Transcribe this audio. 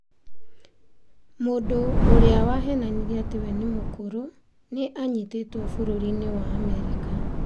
Mũndũ ũrĩa wahenanirie atĩ we nĩ mũkũrũ nĩ anyitĩtwo bũrũri-inĩ wa Amerika